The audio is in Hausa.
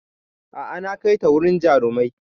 A'a na kaita wurin jarumin